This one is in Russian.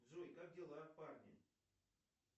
джой как дела в парке